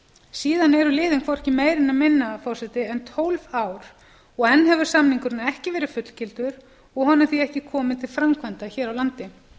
síðan eru liðin hvorki meira né minna en tólf ár og enn hefur samningurinn ekki verið fullgiltur og honum því ekki komið til framkvæmda hér á landi